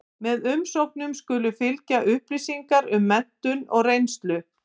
Með umsóknum skulu fylgja upplýsingar um menntun og reynslu.